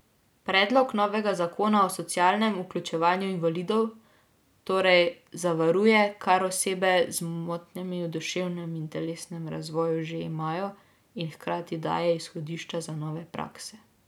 Predlog novega zakona o socialnem vključevanju invalidov torej zavaruje, kar osebe z motnjami v duševnem in telesnem razvoju že imajo, in hkrati daje izhodišča za nove prakse.